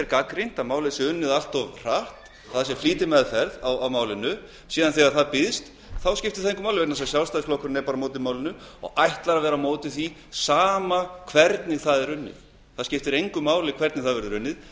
gagnrýnt að málið sé unnið allt of hratt talað um flýtimeðferð en þegar annað býðst skiptir það engu máli vegna þess að sjálfstæðisflokkurinn er bara á móti málinu og ætlar að vera á móti því sama hvernig það er unnið það skiptir engu máli hvernig málið verður unnið